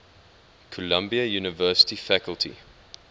columbia university faculty